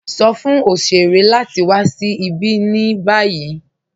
Sọ̀ fún oṣèrè láti wà sí ibi ní báyì.